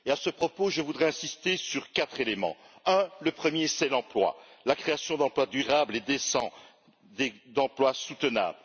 À ce propos, je voudrais insister sur quatre éléments. Le premier, c'est l'emploi, la création d'emplois durables et décents, d'emplois soutenables.